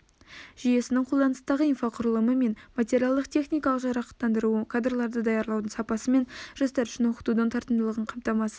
жүйесінің қолданыстағы инфрақұрылымы мен материалдық-техникалық жарақтандыруы кадрлар даярлаудың сапасы мен жастар үшін оқытудың тартымдылығын қамтамасыз